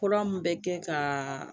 Kura min bɛ kɛ kaa